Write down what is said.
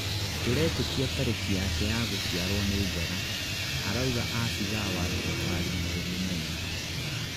turetĩkia tarĩki yake ya gũciarwo nĩ njega," arauga abithaa wa thirikari mumbi Maina